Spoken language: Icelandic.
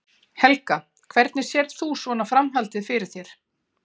Helga: Hvernig sérð þú svona framhaldið fyrir þér?